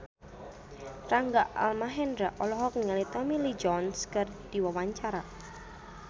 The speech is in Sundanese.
Rangga Almahendra olohok ningali Tommy Lee Jones keur diwawancara